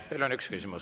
Teile on üks küsimus.